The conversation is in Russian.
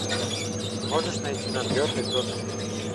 можешь найти нам бернли тоттенхэм